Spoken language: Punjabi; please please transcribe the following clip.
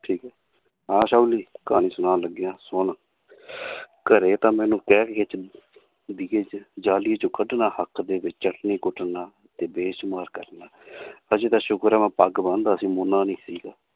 ਠੀਕ ਹੈ ਆਸ਼ਾਵਲੀ ਕਹਾਣੀ ਸੁਣਾਉਣ ਲੱਗਿਆਂ ਸੁਣ ਘਰੇ ਤਾਂ ਮੈਨੂੰ ਕਹਿਣਗੇ ਚਿ~ ਹੱਕ ਦੇ ਵਿੱਚ ਚੱਟਣੀ ਕੁਟਣਾ ਤੇ ਬੇਸ਼ੁਮਾਰ ਕਰਨਾ ਹਜੇ ਤਾਂ ਸ਼ੁਕਰ ਹੈ ਮੈਂ ਪੱਗ ਬੰਨਦਾ ਸੀ ਮੋਨਾ ਨਹੀਂ ਸੀਗਾ l